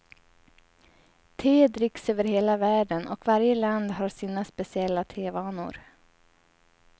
Te dricks över hela världen, och varje land har sina speciella tevanor.